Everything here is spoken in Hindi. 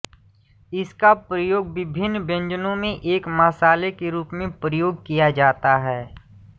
इसका प्रयोग विभिन्न व्यंजनों में एक मसाले के रूप में प्रयोग किया जाता है